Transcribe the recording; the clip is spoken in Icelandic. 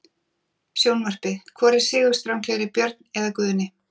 Sjónvarpið: Hvor er sigurstranglegri- Björn eða Guðni?